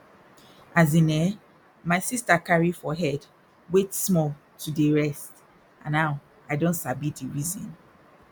as in eh my sister carry for head wait small to dey rest and now i don sabi di reason